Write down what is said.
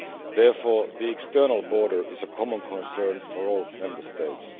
Therefore, the external border is a common concern for all Member States.